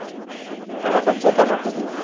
Hello Panchu ಎಂತ ಮಾಡ್ತಿದ್ದೀ?